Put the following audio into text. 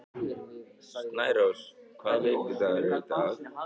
Snærós, hvaða vikudagur er í dag?